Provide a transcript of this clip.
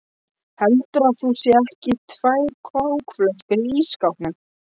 HELDURÐU AÐ ÞAÐ SÉU EKKI TVÆR KÓKFLÖSKUR Í ÍSSKÁPNUM!